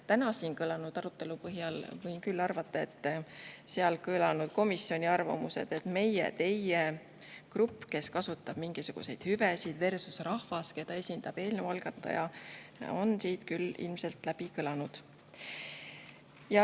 Täna siin toimunud arutelu põhjal võin küll, et komisjonis kõlanud arvamused ja – meie või teie grupp, kes kasutab mingisuguseid hüvesid, versus rahvas, keda esindab eelnõu algataja – on küll ka siin ilmselt kõlanud.